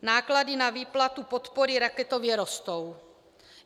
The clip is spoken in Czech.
Náklady na výplatu podpory raketově rostou.